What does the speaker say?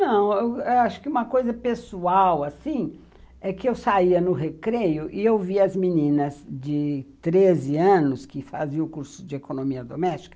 Não, eu acho que uma coisa pessoal, assim, é que eu saía no recreio e eu via as meninas de treze anos, que faziam o curso de economia doméstica,